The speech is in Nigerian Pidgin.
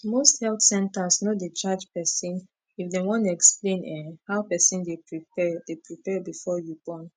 most health centers no dey charge person if dem wan explain[um]how person dey prepare dey prepare before you born